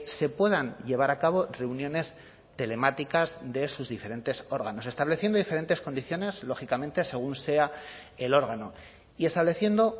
se puedan llevar a cabo reuniones telemáticas de sus diferentes órganos estableciendo diferentes condiciones lógicamente según sea el órgano y estableciendo